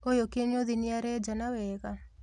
ũyũ kĩnyũthi nĩarenjana wega?